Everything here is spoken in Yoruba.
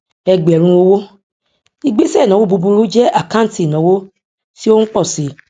ẹgbẹrún owó ìgbésẹ ìnáwó búburú jẹ àkáǹtì ìnáwó tí ó ń pọ si